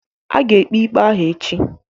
A ga-ekpe ikpe ahụ echi.